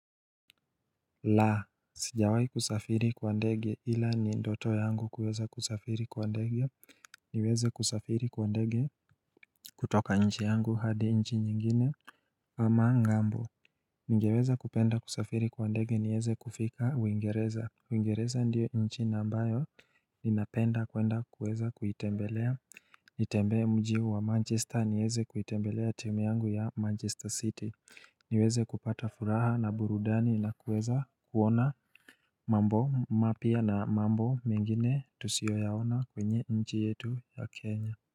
Lah! Sijawahi kusafiri kwa ndege ila ni ndoto yangu kuweza kusafiri kwa ndege niweze kusafiri kwa ndege kutoka nchi yangu hadi nchi nyingine ama ng'ambo Ningeweza kupenda kusafiri kwa ndege niweze kufika uingereza uingereza ndiyo nchi na ambayo Ninapenda kwenda kuweza kuitembelea Nitembee mji wa Manchester niweze kuitembelea team yangu ya Manchester City niweze kupata furaha na burudani na kuweza kuona mambo mapya na mambo mengine tusiyo yaona kwenye nji yetu ya Kenya.